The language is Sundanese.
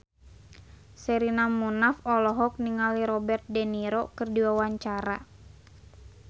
Sherina Munaf olohok ningali Robert de Niro keur diwawancara